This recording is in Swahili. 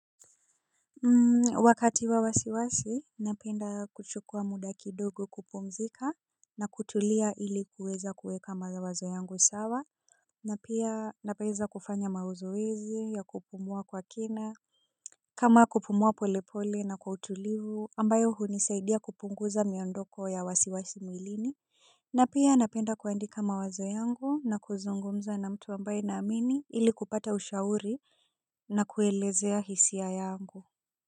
Hmm wakati wa wasiwasi napenda kuchukua muda kidogo kupumzika na kutulia ili kuweza kuweka mazawazo yangu sawa. Na pia napoeza kufanya mauzoezi ya kupumua kwa kina. Kama kupumua polepole na kwa utulivu ambayo hunisaidia kupunguza miondoko ya wasiwasi mwilini napia napenda kuandika mawazo yangu na kuzungumza na mtu ambaye naamini ili kupata ushauri na kuelezea hisia yangu.